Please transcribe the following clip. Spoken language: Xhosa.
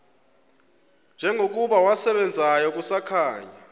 njengokuba wasebenzayo kusakhanya